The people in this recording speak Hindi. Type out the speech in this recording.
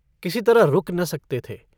किसी तरह रुक न सकते थे।